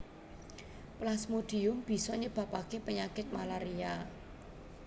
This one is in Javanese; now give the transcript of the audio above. Plasmodium bisa nyebabaké penyakit malaria